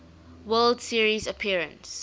world series appearance